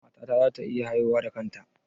Matata za ta iya haihuwa da kanta?